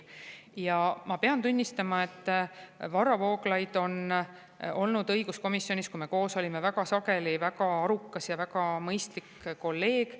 Ja ma pean tunnistama, et Varro Vooglaid on olnud õiguskomisjonis, kui me seal koos olime, väga sageli väga arukas ja väga mõistlik kolleeg.